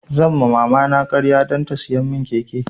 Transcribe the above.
Zan ma mama na ƙarya dan ta siya mun keke